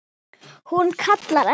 Hún kallar ekki